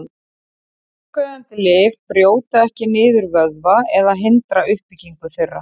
Bólgueyðandi lyf brjóta ekki niður vöðva eða hindra uppbyggingu þeirra.